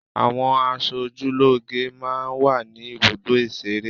Àwọn asojúlóge máa ń wà ní ibùdó ìṣeré.